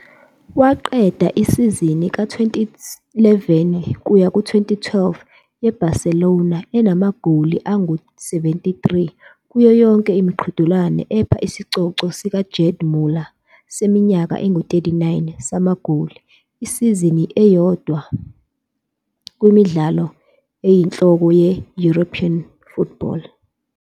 Waqeda isizini ka-2011-12 ye-Barcelona enamagoli angu-73 kuyo yonke imiqhudelwano, epha isicoco sikaGerd Müller seminyaka engu-39 samagoli esizini eyodwa kwimidlalo eyinhloko ye-European football.